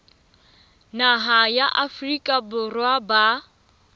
naha ya afrika borwa ba